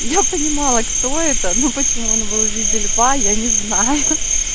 я понимала кто это ну почему он был в виде льва я не знаю